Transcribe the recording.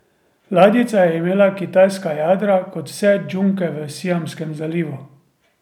Ladjica je imela kitajska jadra, kot vse džunke v Siamskem zalivu.